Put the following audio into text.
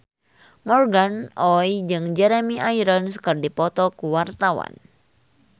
Morgan Oey jeung Jeremy Irons keur dipoto ku wartawan